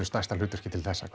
stærsta hlutverki til þessa